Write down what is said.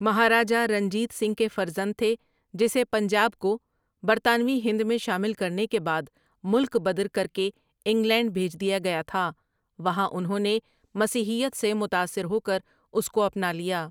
مہاراجہ رنجیت سنگھ کے فرزند تھے ، جسے پنجاب کو برطانوی ہند میں شامل کرنے کے بعد ملک بدر کرکے انگلینڈ بھیج دیا گیا تھا ٛوہاں انہوں نے مسیحیت سے متاثر ہوکر اس کو اپنا لیا۔